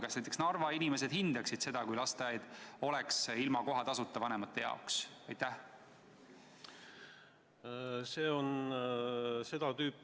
Kas näiteks Narva inimesed hindaksid seda, kui lasteaia kohatasu vanemad ei peaks maksma?